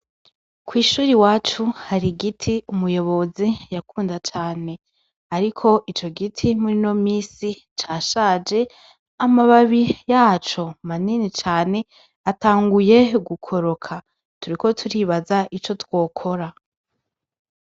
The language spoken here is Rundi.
Kw'ishuri wacu hari igiti umuyobozi yakunda cane, ariko ico giti muri no misi ca shaje amababi yaco manini cane atanguye gukoroka turiko turibaza ico twokora.